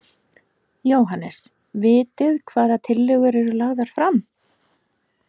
Jóhannes: Vitið hvaða tillögur eru lagðar fram?